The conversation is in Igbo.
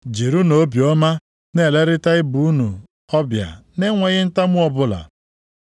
Jirinụ obiọma na-elerịta ibe unu ọbịa na-enweghị ntamu ọbụla.